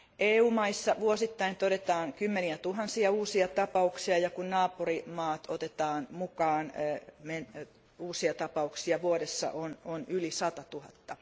EU maissa todetaan vuosittain kymmeniä tuhansia uusia tapauksia ja kun naapurivaltiot otetaan mukaan, niin uusia tapauksia vuodessa on yli sata tuhatta.